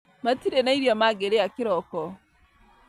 Matirĩ na irio mangĩrĩa kĩroko